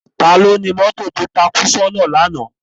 Táló ni mòtó tó tákú sòná làná?